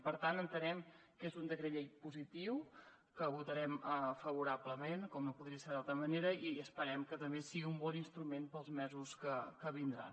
per tant entenem que és un decret llei positiu que votarem favorablement com no podria ser d’altra manera i esperem que també sigui un bon instrument per als mesos que vindran